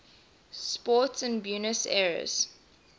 sport in buenos aires